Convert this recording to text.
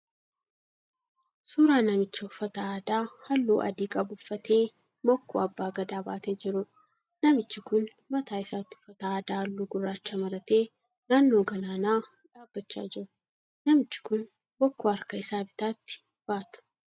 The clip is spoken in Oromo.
Suuraa namicha uffata aadaa halluu adii qabu uffatee bokkuu Abbaa Gadaa baatee jiruudha. Namichi kun mataa isaatti uffata aadaa halluu gurraacha maratee naannoo galaanaa dhaabbachaa jira. Namichi kun bokkuu harka isaa bitaatti baata.